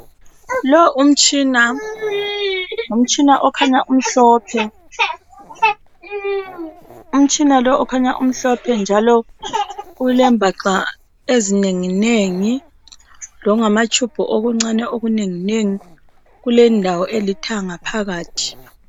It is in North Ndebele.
Lo umtshina ngumtshina okhanya umhlophe njalo ulebhaxa ezinenginengi lokungamatshumbu okuncane okunengingengi kulendawo elithanga phakathi.